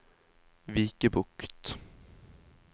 Vikebukt